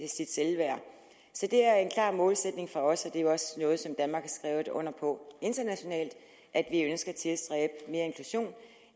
sit selvværd så det er en klar målsætning for os og er jo også noget som danmark har skrevet under på internationalt at vi ønsker at tilstræbe mere inklusion